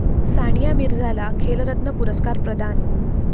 सानिया मिर्झाला 'खेलरत्न' पुरस्कार प्रदान